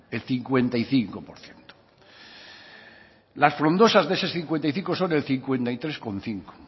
el cincuenta y cinco por ciento las frondosas de ese cincuenta y cinco son el cincuenta y tres coma cinco